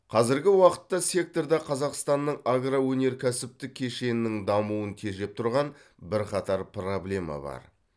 қазіргі уақытта секторда қазақстанның агроөнеркәсіптік кешенінің дамуын тежеп тұрған бірқатар проблема бар